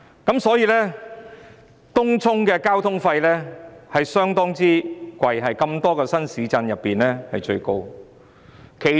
因此，東涌的交通費相當昂貴，在眾多新市鎮中最高。